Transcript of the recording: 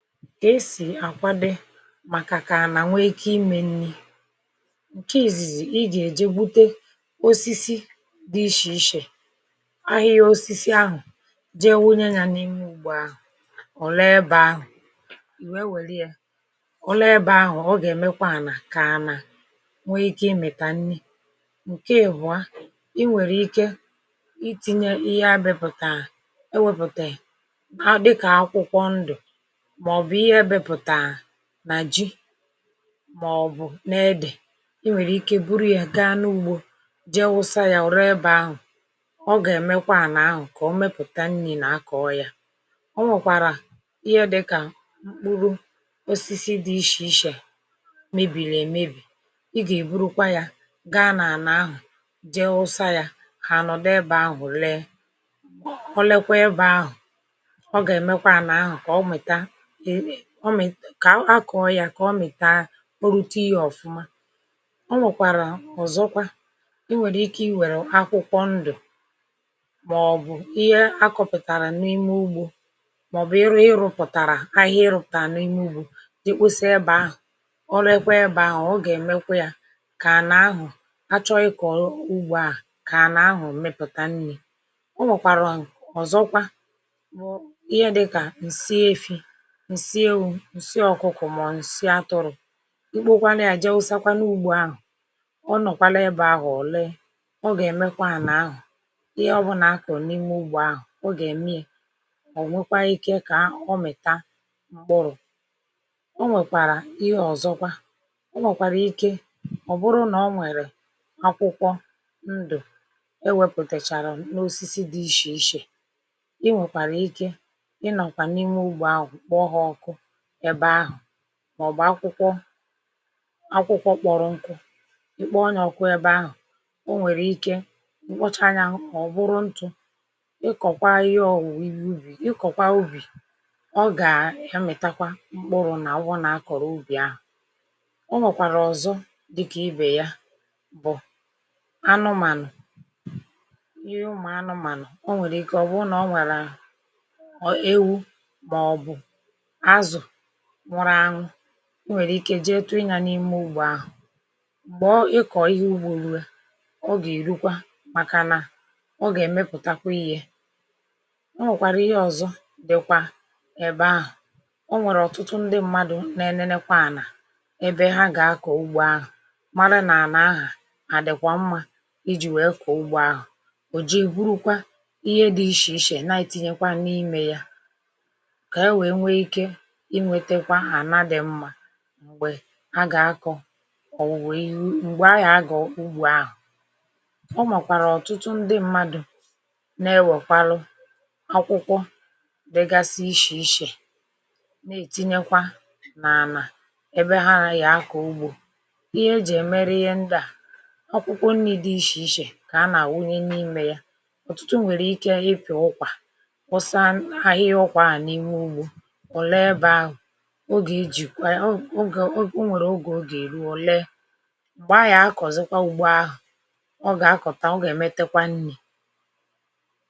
màkàkà ànà nwee ike imė nni̇ ǹke ìzìzì ijì èje bute osisi dị ishì ishè ahịhịa um osisi ahụ̀ je wunye yȧ n’imė ugbu àhụ̀ ọ̀ lee bà ahụ̀ ì wee wèlịe ọ̀ lee bà ahụ̀ ọ gà-èmekwa ànà kà anȧ nwee ike imètà nni̇ ǹke èbụ̀a i nwèrè ike iti̇nyė ihe abịepụ̀tà ewepụ̀tàè màọ̀bụ̀ n’edè i nwèrè ike buru yà gaa n’ugbȯ je wụsa yȧ wụ̀ ree ebe ahụ̀ ọ gà-èmekwa n’ahụ̀ kà o mepụ̀ta nni̇ nà-akọ̀ọ ya o nwèkwàrà ihe dịkà mkpụrụ osisi dị ishè ishè mebìrì èmebì i gà-èburukwa yȧ gaa n’àna ahụ̀ je wụsa yȧ hà-ànọ̀ dị bà ahụ̀ lee ọ lekwa ebe ahụ̀ ọ gà-èmekwa ànà ahụ̀ kà ọ mèta kà akọ̀ọ yà kà ọ mị̀ kà a o rute ya ọ̀fụma um o nwèkwàrà ọ̀zọkwa i nwèrè ike i wèrè akwụkwọ ndụ̀ màọbụ̀ ihe a kọ̇pùtàrà n’ime ugbȯ màọbụ̀ ịrụ̇ ịrụ̇pụ̀tàrà ahụ̀ ihe ịrụ̇pụ̀tàrà n’ime ugbȯ dịkwusi ebe ahụ̀ ọ rekwa ẹbẹ ahụ̀ ọ gà ẹmẹkwa yȧ kà à nà ahụ̀ achọ ịkọ̀ ugbȯ à kà à nà ahụ̀ mẹpụ̀tà nni̇ o nwèkwàrà ọ̀zọkwa bụ̀ ihe dị kà ǹsị efi ùsie ọ̀kụkụ̀ mà ùsị atụrụ̇ ikpo kwala ya jẹ ụsa kwana ugbȯ ahụ̀ ọ nọ̀kwala ebe ahụ̀ òlee ọ gà ẹ̀mẹkwa à nà ahụ̀ ihe ọ bụnà akọ̀rọ̀ n’ime ugbȯ ahụ̀ ọ gà ème ye ọ̀ nwekwa ikė kà ọ mị̀ta m̀kpụrụ̀ o nwèkwàrà ihe ọ̀zọkwa ọ nwòkwàrà ike ọ bụrụ nà ọ nwẹ̀rẹ̀ akwụkwọ ndụ̀ ewėpùtàchàrà n’osisi dị ishè ishè i nwèkwàrà ike ị nọ̀kwà n’ime ugbȯ ahụ̀ kpọ ha ọkụ ị bụ̀ anụmànụ̀ ihe ụmụ̀ anụmànụ̀ ọ nwèrè ike ọ̀ bụ nà o nwèrè ike mkpọcha ndị bịọ̇ ọ̀ bụrụ ntụ̇ ị kọ̀kwaa ihe ọ̀ wụ̀ ihe ubì ị kọ̀kwaa ubì ọ gà ẹmẹ̀takwa mkpụrụ̇ nà ụbụ nà akọ̀rọ ubì ahụ̀ o nwèkwàrà ọ̀zọ dịkà ibè ya bụ̀ anụmànụ̀ ihe ụmụ̀ anụmànụ̀ o nwèrè ike ọ̀ bụrụ nà o nwàrà nwụrụ anụ o nwèrè ike jee tụi ya n’ime ugbȯ ahụ̀ m̀gbè ọ ịkọ̀ ihe ugbȯ ruo ọ gà-èrukwa màkànà ọ gà-èmepùtakwa ihe o nwèkwàrà ihe ọ̀zọ dị̀kwà ị̀bẹ̀ ahụ̀ o nwèrè ọ̀tụtụ ndị mmadụ̇ nȧ-enenekwa ànà ebe ha gà-akọ̀ ugbȯ ahụ̀ mara nà-àna ahà àdị̀kwà mmȧ iji̇ wèe kọ̀ụgbọ ahụ̀ ò ji èburukwa ihe dị ishì ishè na-etinyekwa n’imė ya m̀gbè agà-akọ̀ òwùwè iru m̀gbè ahà agà-agọ̀ ugbù ahụ̀ ọ màkwàrà ọ̀tụtụ ndị mmadụ̀ n’ewèkwalu akwụkwọ degasi ishè ishè na-ètinyekwa n’àlà ebe ha raigà akọ̀ ugbù ihe ejì è mere ihe ndịà akwụkwọ nni̇ dị ishè ishè kà anà-àwụnye n’imė ya ọ̀tụtụ nwèrè ike ịpị̀ọ̀ ụkwà ọsȧ ahịhịa ọkwàà n’ime ugbù um ogè o nwèrè ogè ogèri òle gbàa yà akọ̀zịkwa ugbo ahụ̀ ọ gà-akọ̀ta ọ gà-èmetekwa nni̇